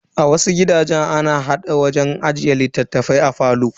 A wasu gidajen, ana hada wajen ajiyar littafai a falo.